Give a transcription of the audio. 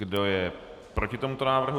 Kdo je proti tomuto návrhu?